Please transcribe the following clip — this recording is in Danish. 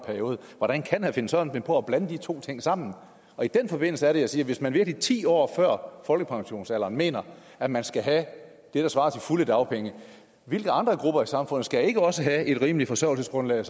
hvordan kan herre finn sørensen finde på at blandt de to ting sammen i den forbindelse er det jeg siger at hvis man virkelig ti år før folkepensionsalderen mener at man skal have det der svarer til fulde dagpenge hvilke andre grupper i samfundet skal så ikke også have et rimeligt forsørgelsesgrundlag